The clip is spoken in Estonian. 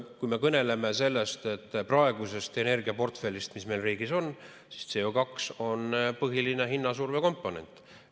Kui me kõneleme praegusest energiaportfellist, mis meil riigis on, siis CO2 on põhiline hinnasurve komponent.